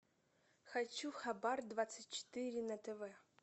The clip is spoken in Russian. хочу хабар двадцать четыре на тв